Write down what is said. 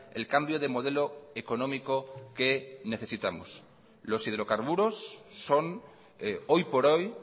el cambio de modelo económico que necesitamos los hidrocarburos son hoy por hoy